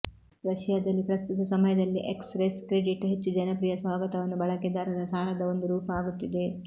ರಶಿಯಾದಲ್ಲಿ ಪ್ರಸ್ತುತ ಸಮಯದಲ್ಲಿ express credit ಹೆಚ್ಚು ಜನಪ್ರಿಯ ಸ್ವಾಗತವನ್ನು ಬಳಕೆದಾರರ ಸಾಲದ ಒಂದು ರೂಪ ಆಗುತ್ತಿದೆ